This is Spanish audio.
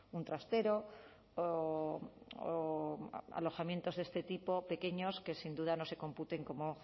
un trastero o alojamientos de este tipo pequeños que sin duda no se computen como